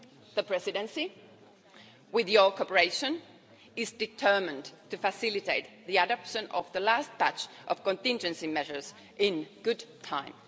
The Presidency, with your cooperation, is determined to facilitate the adoption of the last batch of contingency measures in good time.